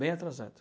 Bem atrasado.